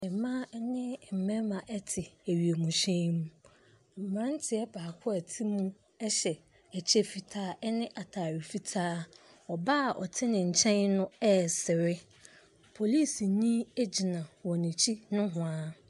Mmaa ne mmarima te wienhyɛn mu. Aberanteɛ baako a ɔte mu hyɛ ɛkyɛ fitaa ne atade fitaa. Ɔbaa a ɔte ne nkyɛn no resere. Polisini gyina wɔn akyi nohoa.